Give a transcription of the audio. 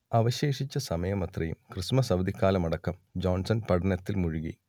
അവശേഷിച്ച സമയമത്രയും ക്രിസ്മസ് അവധിക്കാലമടക്കം ജോൺസൺ പഠനത്തിൽ മുഴുകി